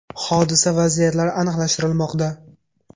Hodisa vaziyatlari aniqlashtirilmoqda.